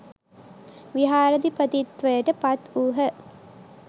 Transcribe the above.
විහාරාධිපතිත්වයට පත් වූහ